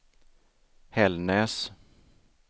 Hällnäs